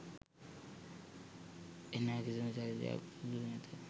එන කිසිදු චරිතයක් සුදු නැත.